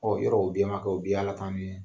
yɔrɔw o bɛɛ man kɛ u bɛɛ y'Ala tanu ye.